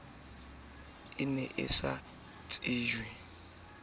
o ne a sa tsejwe